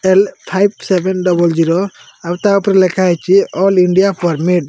L five seven double zero. ଆଉ ତାପରେ ଲେଖା ହେଇଚି ଅଲ୍ ଇଣ୍ଡିଆ ପରମିଟ୍ ।